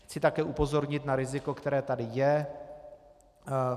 Chci také upozornit na riziko, které tady je.